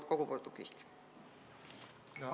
Aitäh!